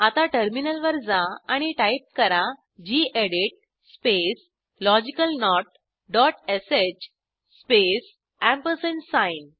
आता टर्मिनलवर जा आणि टाईप करा गेडीत स्पेस logicalnotश स्पेस एम्परसँड साइन